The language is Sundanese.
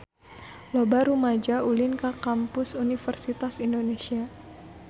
Loba rumaja ulin ka Kampus Universitas Indonesia